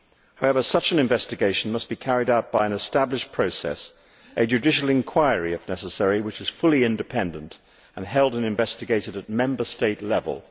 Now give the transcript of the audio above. However, such an investigation must be carried out by an established process a judicial inquiry if necessary which is fully independent and held and investigated at Member State level.